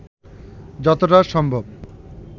যতটা সম্ভব